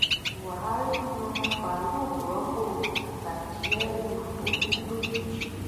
buhari yan farouq rọ́pò attajieru tó kù lójijì